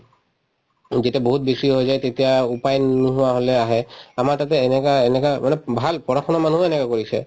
যেতিয়া বহুত বেছি হৈ যায় তেতিয়া উপায় নোহোৱা হলে আহে আমাৰ তাতে এনেকুৱা‍ এনেকা মানে ভাল পঢ়া-শুনা মানুহো এনেকুৱা কৰিছে